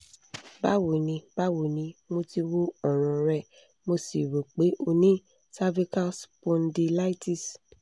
báwo ni báwo ni mo ti wo ọ̀ràn rẹ mo sì rò pé o ní cervical spondylitis